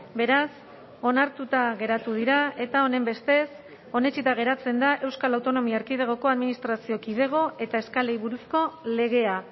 beraz onartuta geratu dira eta honenbestez onetsita geratzen da euskal autonomia erkidegoko administrazio kidego eta eskalei buruzko legea